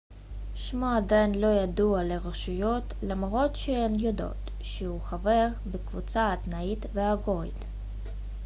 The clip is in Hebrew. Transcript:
שמו עדיין לא ידוע לרשויות למרות שהן יודעות שהוא חבר בקבוצה האתנית האוגורית